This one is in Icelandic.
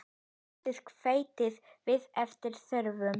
Bætið hveiti við eftir þörfum.